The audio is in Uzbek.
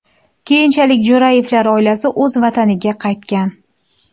Keyinchalik Jo‘rayevlar oilasi o‘z vataniga qaytgan.